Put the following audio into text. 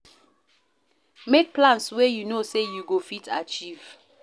Make plans wey you know sey you go fit achieve